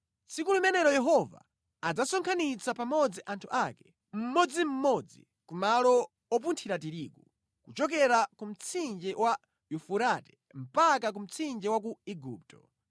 Tsiku limenelo Yehova adzasonkhanitsa pamodzi anthu ake mmodzimmodzi kumalo opunthira tirigu, kuchokera ku mtsinje wa Yufurate mpaka ku mtsinje wa ku Igupto.